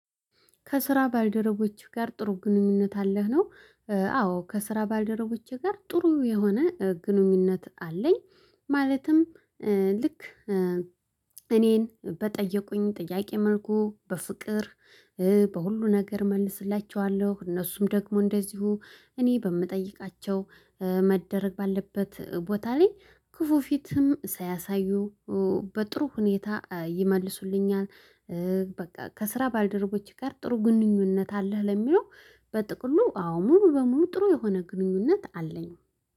ከስራ ባልደረቦችህ ጋር ጥሩ ግንኙነት አለህ ነው? አዎ ከስራ ባልደረቦቼ ጋር ጥሩ የሆነ ግንኙነት አለኝ። ማለትም ልክ እኔን በጠየቁኝ ጥያቄ መልኩ በፍቅር በሁሉ ነገር መልስላችኋለሁ። እነሱም ደግሞ እንደዚሁ እኔ በምጠይቃቸው መደረግ ባለበት ቦታ ላይ ክፉ ፊትም ሳያሳዩ በጥሩ ሁኔታ ይመልሱልኛል። በቃ ከስራ ባልደረቦች ጋር ጥሩ ግንኙነት አለህ? ለሚለው በጥቅሉ አዎ ሙሉ በሙሉ ጥሩ የሆነ ግንኙነት አለኝ